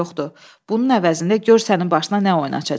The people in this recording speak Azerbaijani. Bunun əvəzində gör sənin başına nə oyun açacam.